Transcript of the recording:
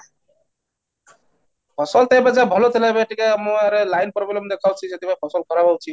ଫସଲ ତ ଏବେ ଯାଏ ଭଲ ଥିଲା, ଏବେ ଟିକେ ଆମ ଗାଁରେ line problem ଦେଖାଉଛି, ସେଠି ପାଇଁ ଫସଲ ଖରାପ ହେଉଛି